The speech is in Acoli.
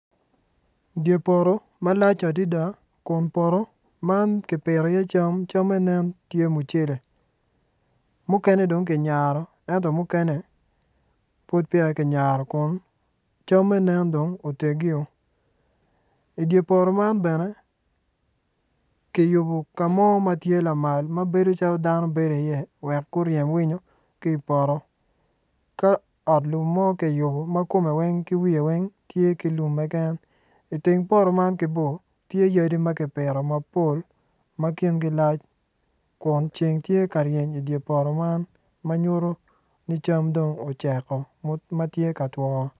Dye poto malac adida kun poto man ki pito iye cam, camme nen tye mucele mukene dong ki nyaro ento mukene pud peya ki nyaro kun camme nen dong otegio i dye poto man bene ki yubu ka mo ma tye lamal ma bedo calo dano bedo iye wek guryem winyo ki i poto ka ot lum mo ki yubo ma komme wa ki wiye weny tye ki lum keken iteng poto man ki bor tye yadi ma ki pito mapol ma kingi lac kun ceng tye ka reny i dye poto man ma nyuto ni cam dong oceko ma tye ka twoo